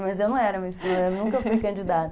Mas eu não era Miss Primavera, nunca fui candidata.